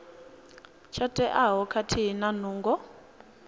tsho teaho khathihi na nungo